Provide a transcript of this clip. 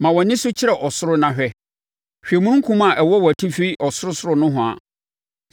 Ma wʼani so kyerɛ ɔsoro na hwɛ; hwɛ omununkum a ɛwɔ wʼatifi ɔsorosoro nohoa.